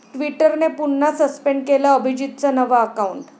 ट्विटरने पुन्हा सस्पेंड केलं अभिजीतचं नवं अकाउंट